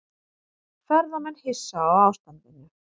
Ferðamenn hissa á ástandinu